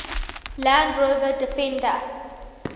land rover defender